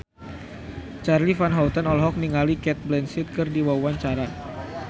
Charly Van Houten olohok ningali Cate Blanchett keur diwawancara